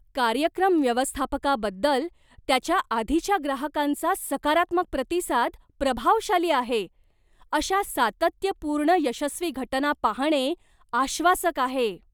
कार्यक्रम व्यवस्थापकाबद्दल त्याच्या आधीच्या ग्राहकांचा सकारात्मक प्रतिसाद प्रभावशाली आहे. अशा सातत्यपूर्ण यशस्वी घटना पाहणे आश्वासक आहे.